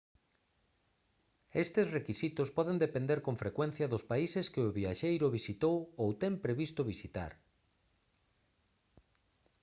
estes requisitos poden depender con frecuencia dos países que o viaxeiro visitou ou ten previsto visitar